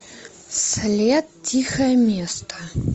след тихое место